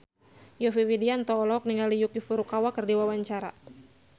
Yovie Widianto olohok ningali Yuki Furukawa keur diwawancara